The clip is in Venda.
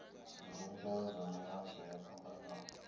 zwivhumbeo zwa mihasho yo fhambanaho